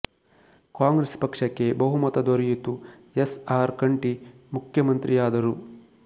ಕಾಂಗ್ರೆಸ್ ಪಕ್ಷಕ್ಕೆ ಬಹುಮತ ದೊರೆಯಿತು ಎಸ್ ಆರ್ ಕಂಠಿ ಮುಖ್ಯಮಂತ್ರಿಯಾದರು